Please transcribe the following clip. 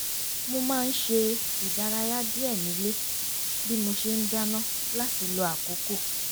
mo má ń ṣe ìdárayá díẹ̀ nílé bí mo ṣe ń dáná láti lo àkókò